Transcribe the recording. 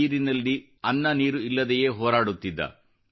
ನೀರಿನಲ್ಲಿ ಅನ್ನ ನೀರು ಇಲ್ಲದೆಯೇ ಹೋರಾಡುತ್ತಿದ್ದ